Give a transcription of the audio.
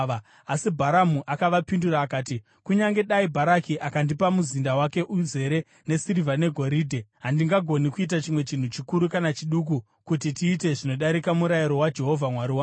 Asi Bharamu akavapindura akati, “Kunyange dai Bharaki akandipa muzinda wake uzere nesirivha negoridhe, handingagoni kuita chimwe chinhu chikuru kana chiduku kuti tiite zvinodarika murayiro waJehovha Mwari wangu.